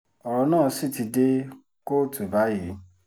ọ̀rọ̀ náà sì ti dé kóòtù báyìí